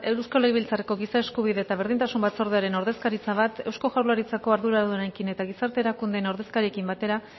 eusko legebiltzarreko giza eskubide eta berdintasun batzordearen ordezkaritza bat eusko jaurlaritzako arduradunekin eta gizarte erakundeen ordezkariekin batera